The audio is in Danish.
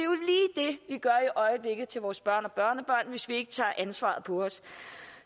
vi gør i øjeblikket over vores børn og børnebørn hvis vi ikke tager ansvaret på os